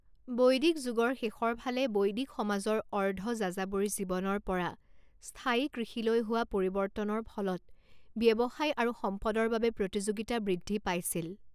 বৈদিক যুগৰ শেষৰ ফালে বৈদিক সমাজৰ অৰ্ধ যাযাবৰী জীৱনৰ পৰা স্থায়ী কৃষিলৈ হোৱা পৰিৱৰ্তনৰ ফলত ব্যৱসায় আৰু সম্পদৰ বাবে প্ৰতিযোগিতা বৃদ্ধি পাইছিল।